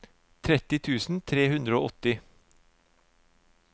tretti tusen tre hundre og åtti